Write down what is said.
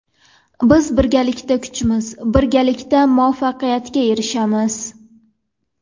Biz birgalikda kuchmiz, birgalikda muvaffaqiyatga erishamiz!